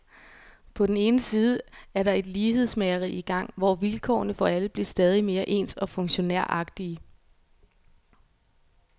På den ene side er der et lighedsmageri i gang, hvor vilkårene for alle bliver stadig mere ens og funktionæragtige.